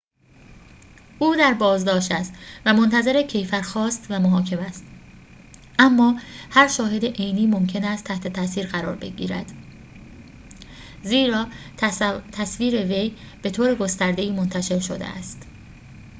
او در بازداشت است و منتظر کیفرخواست و محاکمه است اما هر شاهد عینی ممکن است تحت تاثیر قرار گبرد زیرا تصویر وی به‌طور گسترده‌ای منتشر شده است